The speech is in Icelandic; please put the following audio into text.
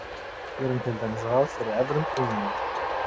Gerum til dæmis ráð fyrir evrum og jenum.